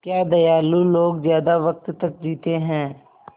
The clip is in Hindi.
क्या दयालु लोग ज़्यादा वक़्त तक जीते हैं